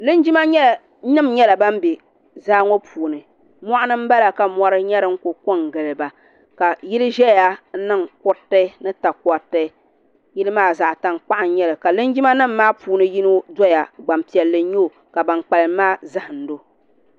Linjima nima yɛla ban bɛ zaaŋɔ puuni mɔɣuni n bala ka mɔɣu yɛla. dini kuli ko n gili ba ka yilli zɛya n niŋ kuriti ni takɔriti yilli maa zaɣi tankpaɣu n yɛli ka linjima nima maa puuni yino doya gbaŋ piɛli n yɛ o ka bani kpalim maa zahindi o.